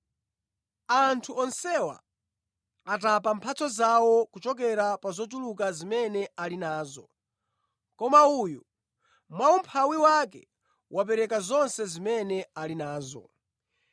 Anthu onsewa atapa mphatso zawo kuchokera pa zochuluka zimene ali nazo; koma uyu, mwa umphawi wake, wapereka zonse zimene ali nazo.”